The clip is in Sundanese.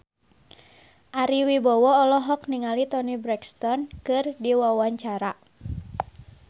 Ari Wibowo olohok ningali Toni Brexton keur diwawancara